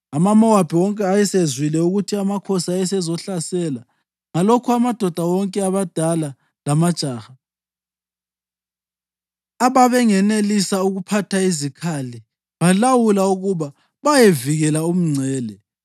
AmaMowabi wonke ayesezwile ukuthi amakhosi ayezohlasela; ngalokho amadoda wonke, abadala lamajaha, ababengenelisa ukuphatha izikhali balawulwa ukuba bayevikela umngcele.